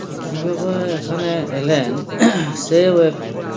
কিভাবে এখানে এলেন সেও এক